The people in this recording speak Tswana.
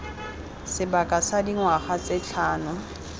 sebaka sa dingwaga tse tlhano